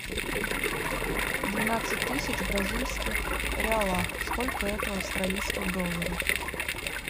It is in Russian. двенадцать тысяч бразильских реалах сколько это в австралийских долларах